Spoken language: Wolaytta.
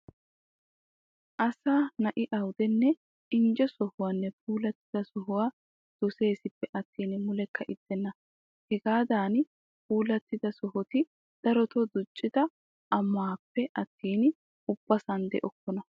Asa na'i awudenne injje sohuwann puulattida sohuwa doseesippe attin mulekka ixxenna. Hagaadan puulattida sohoti darotoo duccida ammaappe attin ubbasan de'okkona.